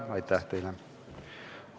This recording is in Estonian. Aitäh teile!